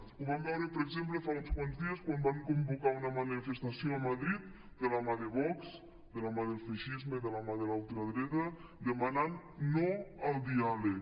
ho vam veure per exemple fa uns quants dies quan van convocar una manifestació a madrid de la mà de vox de la mà del feixisme de la mà de la ultradreta demanant no al diàleg